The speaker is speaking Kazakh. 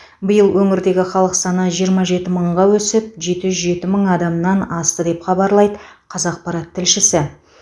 биыл өңірдегі халық саны жиырма жеті мыңға өсіп жеті жеті мың адамнан асты деп хабарлайды қазақпарат тілшісі